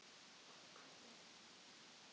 Ég var sannfærð um að bróðir minn væri að deyja